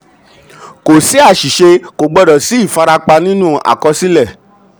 kò sí àṣìṣe kò gbọdọ̀ sí ìfarapa nínú àkọsílẹ̀.